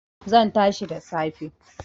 Zan tashi da safe